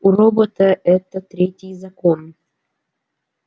у робота это третий закон